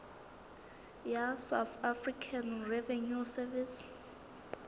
ya south african revenue service